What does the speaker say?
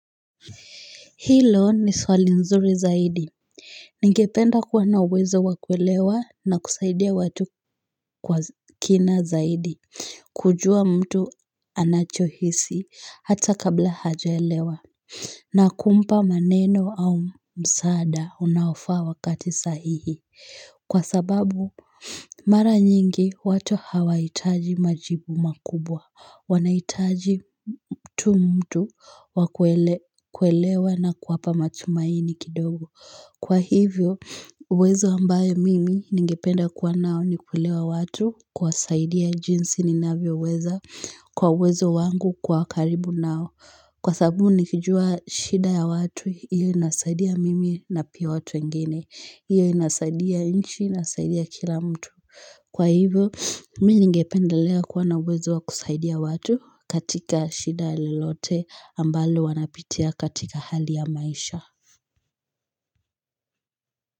Hilo ni swali nzuri zaidi Ningependa kuwa na uwezo wakuelewa na kusaidia watu kwa kina zaidi kujua mtu anachohisi hata kabla hajaelewa na kumpa maneno au msaada unaofaa wakati sahihi kwa sababu Mara nyingi, watu hawaitaji majibu makubwa. Wanaitaji tu mtu wakuelewa na kuwapa matumaini kidogo. Kwa hivyo, uwezo ambaye mimi ningependa kuwa nao ni kuelewa watu kuwasaidia jinsi ninavyo weza kwa uwezo wangu kwa karibu nao. Kwa sababu nikijua shida ya watu iyo inasaidia mimi na pia watu wengine iyo inasaidia nchi inasaidia kila mtu Kwa hivyo mimi ngependalea kuwa na uwezo wa kusaidia watu katika shida lolote ambalo wanapitia katika hali ya maisha.